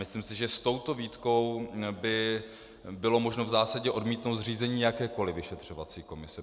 Myslím si, že s touto výtkou by bylo možno v zásadě odmítnout zřízení jakékoli vyšetřovací komise.